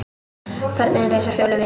Börnin reisa Fjólu við.